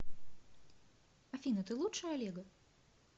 афина ты лучше олега